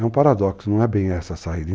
É um paradoxo, não é bem essa a saída.